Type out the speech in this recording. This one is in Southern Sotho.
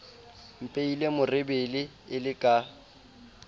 mpehile merebele e le ka